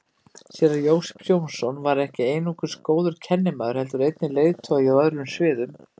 Séra Jósep Jónsson var ekki einungis góður kennimaður heldur einnig leiðtogi á öðrum sviðum.